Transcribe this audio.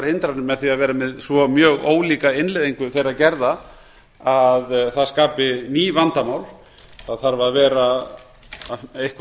því að vera með svo mjög ólíka innleiðingu þeirra gerða að það skapi ný vandamál það þarf að vera einhver